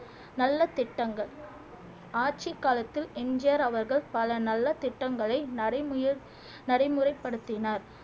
நல்ல திட்டங்கள் ஆட்சி காலத்தில் எம் ஜி ஆர் அவர்கள் பல நல்ல திட்டங்களை நரைமுயர் நடைமுறைப்படுத்தினார்